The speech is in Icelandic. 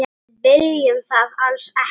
Við viljum það alls ekki.